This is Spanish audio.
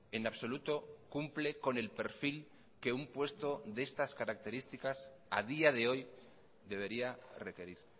en absoluto cumple con el perfil que un puesto de estas características a día de hoy debería requerir